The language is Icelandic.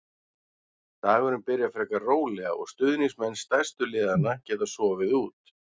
Dagurinn byrjar frekar rólega og stuðningsmenn stærstu liðanna geta sofið út.